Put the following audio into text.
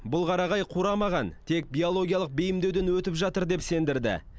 бұл қарағай қурамаған тек биологиялық бейімдеуден өтіп жатыр деп сендірді